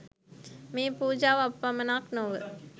මේ පූජාව අප පමණක් නොව